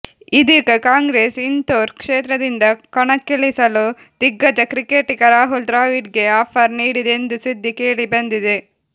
ಇದೀಗ ಕಾಂಗ್ರೆಸ್ ಇಂಧೋರ್ ಕ್ಷೇತ್ರದಿಂದ ಕಣಕ್ಕಿಳಿಸಲು ದಿಗ್ಗಜ ಕ್ರಿಕೆಟಿಗ ರಾಹುಲ್ ದ್ರಾವಿಡ್ ಗೇ ಆಫರ್ ನೀಡಿದೆ ಎಂಬ ಸುದ್ದಿ ಕೇಳಿಬಂದಿದೆ